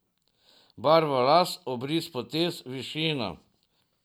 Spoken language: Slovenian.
Barvo las, obris potez, višino.